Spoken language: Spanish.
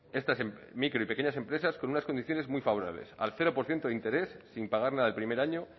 esta micro y pequeñas empresas con unas condiciones muy favorables al cero por ciento de interés sin pagar nada el primer año